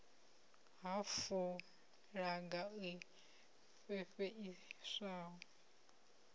nha fulaga i fhefheiswa yo